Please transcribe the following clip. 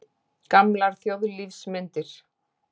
Gamlar þjóðlífsmyndir.